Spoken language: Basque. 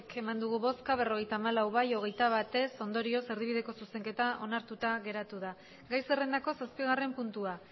bai berrogeita hamalau ez hogeita bat ondorioz erdibideko zuzenketa onartuta geratu da gai zerrendako zazpigarren puntua